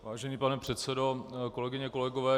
Vážený pane předsedo, kolegyně, kolegové.